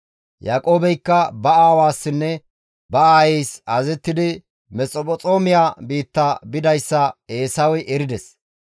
Yaaqoobeykka ba aawassinne ba aayeys azazettidi Mesphexoomiya biitta bidayssa Eesawey erides.